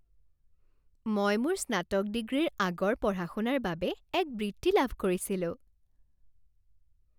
মই মোৰ স্নাতক ডিগ্ৰীৰ আগৰ পঢ়া শুনাৰ বাবে এক বৃত্তি লাভ কৰিছিলো।